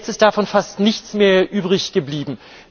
Jetzt ist davon fast nichts mehr übrig geblieben.